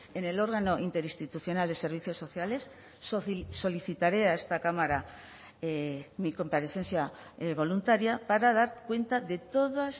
en el órgano interinstitucional de servicios sociales solicitaré a esta cámara mi comparecencia voluntaria para dar cuenta de todas